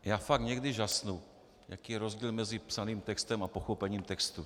Já fakt někdy žasnu, jaký je rozdíl mezi psaným textem a pochopením textu.